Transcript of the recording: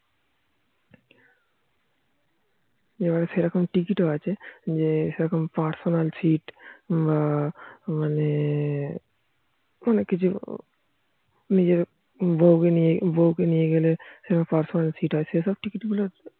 এবার সেরকম টিকিট ও আছে যে সেরকম personal সিট্ বা মানে অনেক কিছু যেরকম নিজের বৌ কে নিয়ে গেলে personal সিট্ সেরকম টিকিট ও আছে